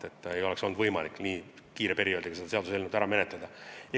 Eelnõu ei oleks olnud võimalik nii lühikesel perioodil ära menetleda.